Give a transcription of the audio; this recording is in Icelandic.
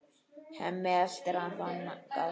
Hemmi eltir hana þangað.